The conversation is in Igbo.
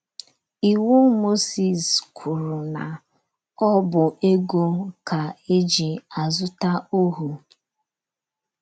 Iwu Mozis kwuru na ọ bụ ego ka eji azụta ohụ́.